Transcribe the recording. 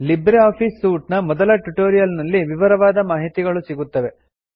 Libre office suite ನ ಮೊದಲ tutorial ನಲ್ಲಿ ವಿವರವಾದ ಮಾಹಿತಿಗಳು ಸಿಗುತ್ತವೆ